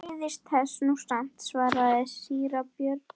Ég beiðist þess nú samt, svaraði síra Björn.